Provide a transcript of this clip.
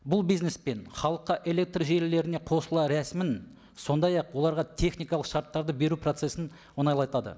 бұл бизнес пен халыққа электр желілеріне қосыла рәсімін сондай ақ оларға техникалық шарттарды беру процессін оңайлатады